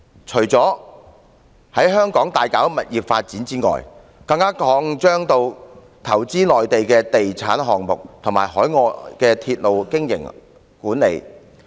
除了在香港大搞物業發展外，更擴張至投資內地的地產項目和海外的鐵路經營管理。